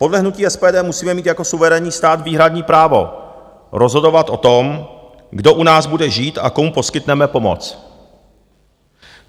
Podle hnutí SPD musíme mít jako suverénní stát výhradní právo rozhodovat o tom, kdo u nás bude žít a komu poskytneme pomoc.